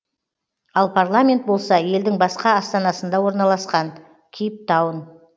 ал парламент болса елдің басқа астанасында орналасқан кейптаун